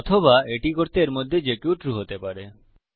অথবা এটি করতে এর মধ্যে যে কেউ ট্রু হতে পারে